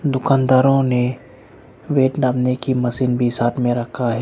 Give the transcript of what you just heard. दुकानदारों ने वेट नापने की मशीन भी साथ में रखा है।